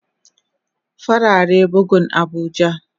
Farare bugun abuja.